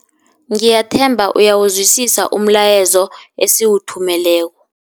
Ngiyathemba uyawuzwisisa umlayezo esiwuthumeleko.